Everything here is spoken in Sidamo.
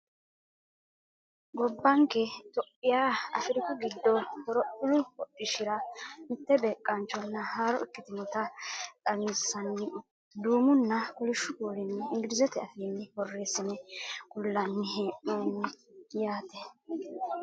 gobbanke itiyophiya afiriku giddo horophillu hodhishshira mitte beeqqaanchonna haaro ikkitinota xawinsanni duumunna kolishshu kuulinni inglizete afiinni borreessine kullannni hee'noonni yaate